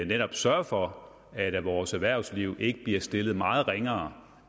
netop sørger for at vores erhvervsliv ikke bliver stillet meget ringere